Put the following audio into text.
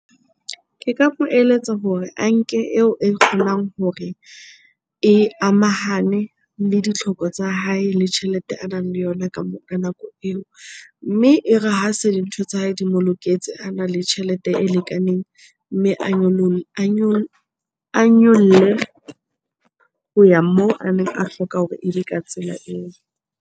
Ke ka mo eletsa hore a nke eo e kgonang hore e amahane le ditlhoko tsa hae le tjhelete a nang le yona ka ka nako eo. Mme e re ha se dintho tsa hae di mo loketse, ana le tjhelete e lekaneng mme a nyolle ho ya moo a neng a hloka hore ebe ka tsela eo.